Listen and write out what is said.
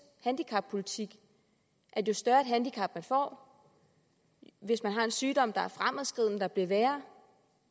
handicappolitik at jo større et handicap man får hvis man har en sygdom der er fremadskridende der bliver værre